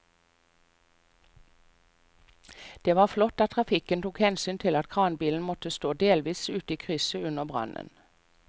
Det var flott at trafikken tok hensyn til at kranbilen måtte stå delvis ute i krysset under brannen.